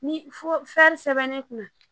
Ni fo sɛbɛnnen kun na